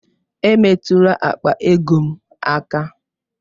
Emetụla akpa ego m aka!